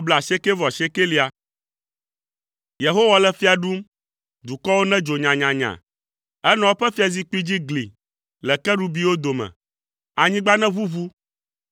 Yehowa le fia ɖum, dukɔwo nedzo nyanyanya, enɔ eƒe fiazikpui dzi gli le kerubiwo dome, anyigba neʋuʋu.